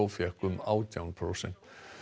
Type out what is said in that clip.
fékk um átján prósent